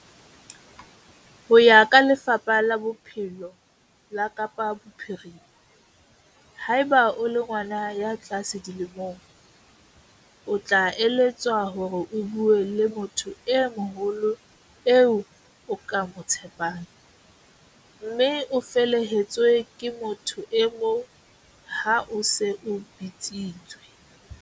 Ho ya ka Lefapha la Bophelo la Kapa Bophirima, haeba o le ngwana ya tlase dilemong, o tla eletswa hore o bue le motho e moholo eo o ka mo tshepang, mme o felehetswe ke motho e mong ha o se o bitsitswe.